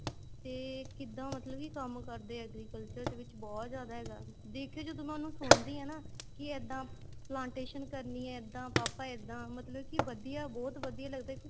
ਤੇ ਕਿੱਦਾਂ ਮਤਲਬ ਕੀ ਕੰਮ ਕਰਦੇ ਏ agriculture ਦੇ ਵਿੱਚ ਬਹੁਤ ਜਿਆਦਾ ਹੈਗਾ ਦੇਖਿਉ ਜਦੋਂ ਮੈਂ ਉਹਨੂੰ ਸੁਣਦੀ ਆ ਨਾ ਕੇ ਇੱਦਾਂ plantation ਕਰਨੀ ਏ ਇੱਦਾਂ ਪਾਪਾ ਇੱਦਾਂ ਮਤਲਬ ਕੀ ਵਧੀਆ ਬਹੁਤ ਵਧੀਆ ਲੱਗਦਾ ਏ